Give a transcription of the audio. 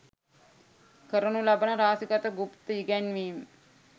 කරනු ලබන රහසිගත ගුප්ත ඉගැන්වීම්